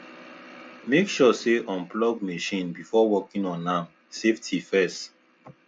make sure say unplug machine before working on am safety first